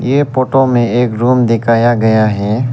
ये फोटो में एक रूम दिखाया गया है।